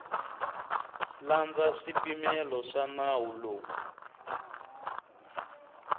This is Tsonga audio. landza swipimelo swa nawu lowu